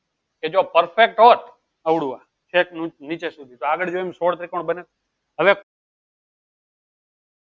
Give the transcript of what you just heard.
કે જો perfect હોત અવળું આ છેક નીચે સુધી તો જેમ આગળ સોળ ત્રિકોણ બને હવે